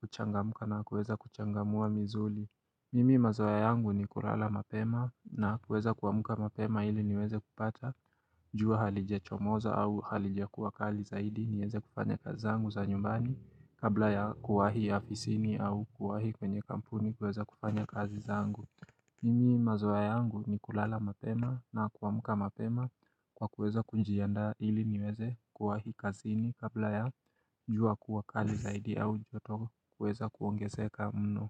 kuchangamka na kuweza kuchangamua mizuli Mimi mazoea yangu ni kulala mapema na kuweza kuamka mapema ili niweze kupata jua halijachomoza au halijakuwa kali zaidi niweze kufanya kazi zangu za nyumbani Kabla ya kuwahi afisini au kuwahi kwenye kampuni kuweza kufanya kazi zangu Mimi mazoea yangu ni kulala mapema na kuamka mapema kwa kuweza kujianda ili niweze kuwahi kazini Kabla ya jua kuwa kali zaidi au joto kuweza kuongezeka mno.